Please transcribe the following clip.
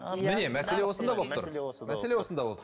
міне мәселе осында болып тұр мәселе мәселе осында